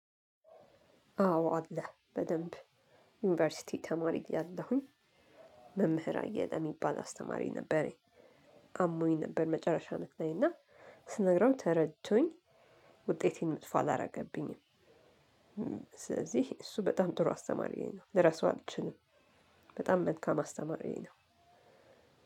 አዎ አለ በደንብ ዩኒቨርሲቲ ተማሪ ያለሁኝ መምህር አየለ የሚባል አስተማሪ ነበረኝ አሞኝ ነበር መጨረሻ አመት ላይ እና ስነግረው ተረድቶኝ ውጤቴን መጥፎ አላደረገብኝም። ስለዚህ እሱ በጣም ጥሩ አስተማሪ ነው ልረሳው አልችልም። በጣም መልካም አስተማሪ ነው።